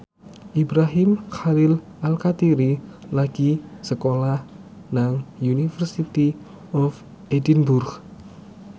Ibrahim Khalil Alkatiri lagi sekolah nang University of Edinburgh